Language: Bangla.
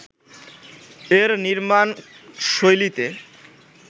এর নির্মাণশৈলীতে